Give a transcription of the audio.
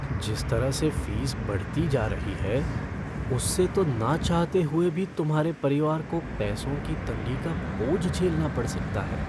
जिस तरह से फीस बढ़ती जा रही है उससे तो ना चाहते हुए भी तुम्हारे परिवार को पैसों की तंगी का बोझ झेलना पड़ सकता है।